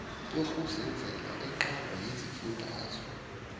yokuzenzela eqalwa yizifundazwe